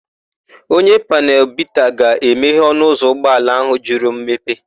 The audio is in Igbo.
Onye panelu bita ga-emehe ọnụụzọ ụgbọala áhụ̀ jụrụ mmepe.